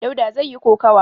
Dauda zai yi kokawa.